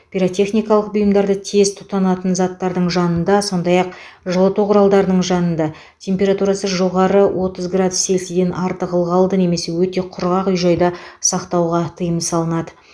пиротехникалық бұйымдарды тез тұтанатын заттардың жанында сондай ақ жылыту құралдарының жанында температурасы жоғары отыз градус цельсия артық ылғалды немесе өте құрғақ үй жайда сақтауға тыйым салынады